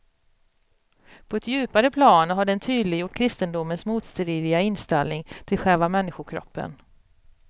På ett djupare plan har den tydliggjort kristendomens motstridiga inställning till själva människokroppen.